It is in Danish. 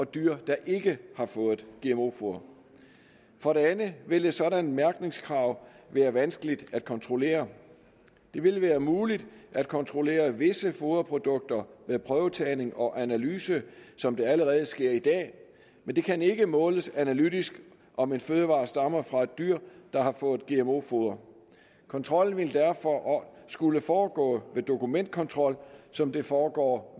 dyr der ikke har fået gmo foder for det andet vil et sådant mærkningskrav være vanskeligt at kontrollere det vil være muligt at kontrollere visse foderprodukter med prøvetagning og analyse som det allerede sker i dag men det kan ikke måles analytisk om en fødevare stammer fra et dyr der har fået gmo foder kontrollen ville derfor skulle foregå ved dokumentkontrol som det foregår